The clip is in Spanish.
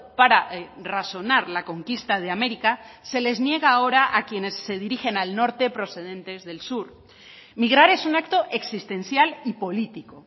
para razonar la conquista de américa se les niega ahora a quienes se dirigen al norte procedentes del sur migrar es un acto existencial y político